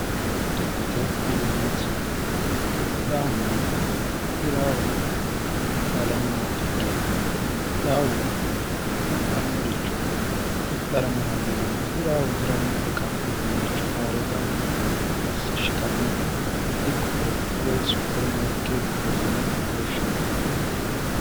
dikkote yineemmoti hidhaahunna hiraahu xaadannowa ikkite hidhaahu hidhannoricho hidhara marannowanna hiraahu hiranno iqa uduunnicho haa're gamba assi shiqannowa dikkote woy supermaarikeetete yine hooffinano